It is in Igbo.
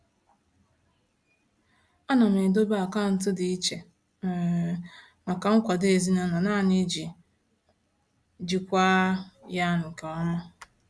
Ana m edobe akaụntụ dị iche um maka nkwado ezinụlọ nani iji jikwaa ya nke ọma.